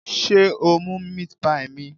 Sé o mú meat pie mi?